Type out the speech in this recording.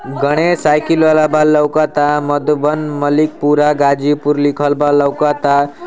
Ganesh cycle वाला बा लउकत आ मधुबन मलिक पूरा गाज़ीपुर लिखल बा लउकत आ।